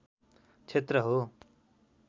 क्षेत्र हो